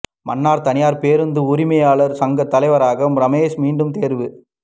மன்னார் தனியார் பேருந்து உரிமையாளர் சங்கத் தலைவராக ரமேஸ் மீண்டும் தெரிவு